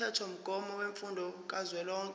umthethomgomo wemfundo kazwelonke